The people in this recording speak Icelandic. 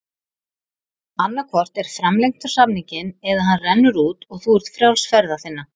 Annað hvort er framlengt samninginn eða hann rennur út og þú ert frjáls ferða þinna.